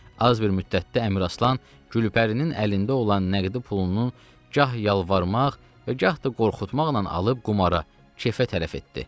Az bir müddətdə Əmiraslan Gülpərinin əlində olan nəğdi pulunun gah yalvarmaq və gah da qorxutmaqla alıb qumara, kefə tərəf etdi.